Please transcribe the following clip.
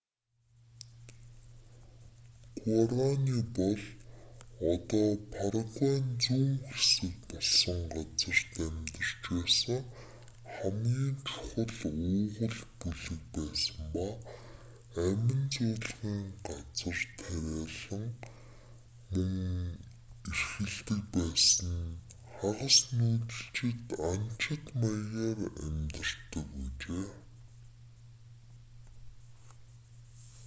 гуарани бол одоо парагвайн зүүн хэсэг болсон газарт амьдарч байсан хамгийн чухал уугуул бүлэг байсан ба амин зуулгын газар тариалан мөн эрхэлдэг байсан хагас нүүдэлчин анчид маягаар амьдарч байжээ